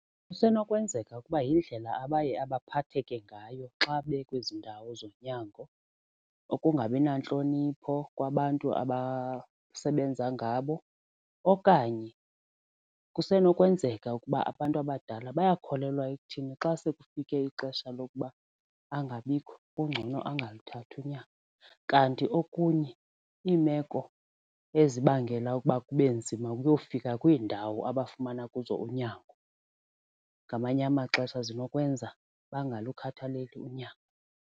Kusenokwenzeka ukuba yindlela abaye abaphatheke ngayo xa bekwezi ndawo zonyango ukungabi nantlonipho kwabantu abasebenza ngabo okanye kusenokwenzeka ukuba abantu abadala bayakholelwa ekutheni xa sekufike ixesha lokuba angabikho kungcono angaluthatha unyango, kanti okunye iimeko ezibangela ukuba kube nzima ukuyofika kwiindawo abafumana kuzo unyango ngamanye amaxesha zinokwenza bengalukhathaleli unyango.